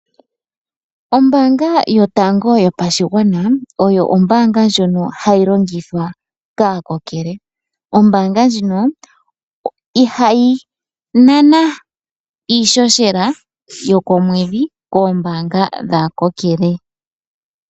Ombaanga yotango yopashigwana oyo ombaanga ndjono ha yi longithwa kaakokele. Ombaanga ndjino iha yi nana iisheshela yokomwedhi koombaanga dhaakokele.